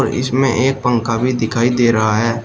इसमें एक पंखा भी दिखाई दे रहा है।